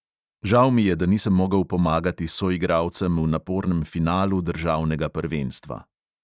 Žal mi je, da nisem mogel pomagati soigralcem v napornem finalu državnega prvenstva.